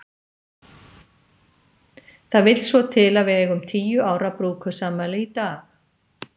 Það vill svo til að við eigum tíu ára brúðkaupsafmæli í dag.